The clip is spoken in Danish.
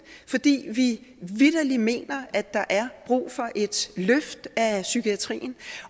fordi vi vitterlig mener at der er brug for et løft af psykiatrien